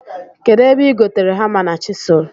Kedụ ebe ị gotere hama na chịsụl